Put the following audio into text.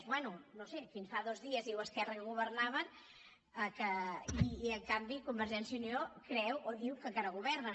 bé no ho sé fins fa dos dies diu esquerra que governaven i en canvi convergència i unió creu o diu que encara governen